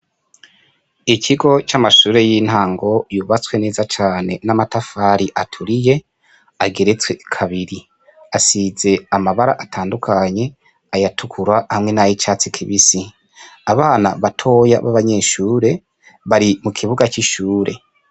Ikigo c'amashure y' intango yubatswe neza cane n' amatafari aturiye ageretswe kabiri asize amabara atandukanye ayatukura hamwe n' ayicatsi kibisi abana batoya b' abanyeshure bari mu kibuga c' ishure.